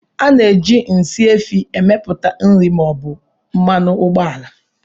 A na-eji nsị efi emepụta nri ma ọ bụ mmanụ ụgbọala